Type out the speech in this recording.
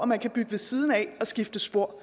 man kan bygge ved siden af og skifte spor